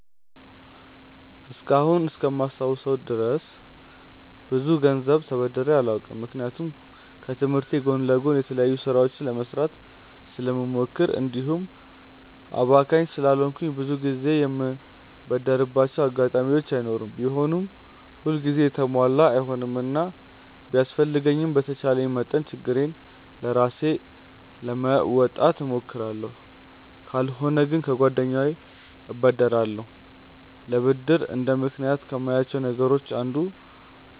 እስካሁን እስከማስታውሰው ብዙ ገንዘብ ተበድሬ አላውቅም። ምክንያቱም ከትምህርቴ ጎን ለጎን የተለያዩ ስራዎችን ለመስራት ስለምሞክር እንዲሁም አባካኝ ስላልሆንኩ ብዙ ጊዜ የምበደርባቸው አጋጣሚዎች አይኖሩም። ቢሆንም ሁል ጊዜ የተሟላ አይሆንምና ቢያስፈልገኝም በተቻለኝ መጠን ችግሬን ራሴ ለመወጣት እሞክራለሁ። ካልሆነ ግን ከጓደኛዬ እበደራለሁ። ለብድር እንደ ምክንያት ከማያቸው ነገሮች አንዱ